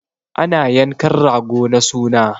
Ana yankan rago na suna